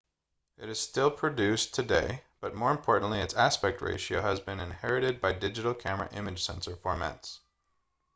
it is still produced today but more importantly its aspect ratio has been inherited by digital camera image sensor formats